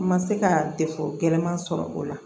N ma se ka gɛlɛman sɔrɔ o la